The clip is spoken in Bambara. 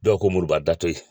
Dɔw ko Moriba da ye